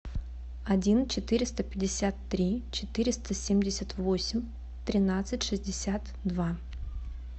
один четыреста пятьдесят три четыреста семьдесят восемь тринадцать шестьдесят два